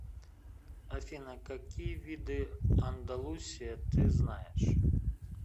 афина какие виды андалусия ты знаешь